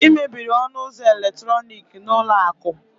ị mebiri ọnụ ụzọ eletrọnịkị n'ụlọ akụ?